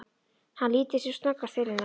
Hann lítur sem snöggvast til hennar.